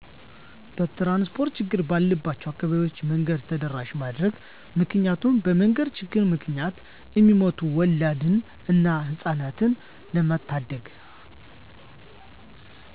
የትራንስፖርት ችግር ባለባቸው አካባቢዎች መንገድ ተደራሺ ማድረግ ምክንያቱም በመንገድ ችግር ምክንያት እሚሞቱ ወላድን እና ህጻናትን ለመታደግ።